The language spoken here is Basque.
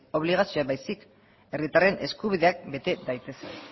obligazioak baizik herritarren eskubideak bete daitezen